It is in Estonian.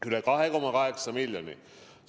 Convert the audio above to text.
Üle 2,8 miljoni!